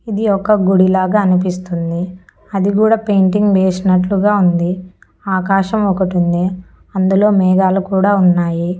ఇది ఒక గుడి లాగా అనిపిస్తుంది అది కూడా పెయింటింగ్ వేసినట్లుగా ఉంది ఆకాశం ఒకటుంది అందులో మేఘాలు కూడా ఉన్నాయి.